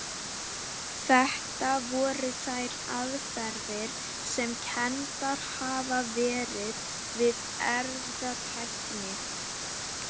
Þetta voru þær aðferðir sem kenndar hafa verið við erfðatækni.